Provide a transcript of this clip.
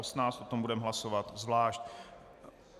O tom budeme hlasovat zvlášť.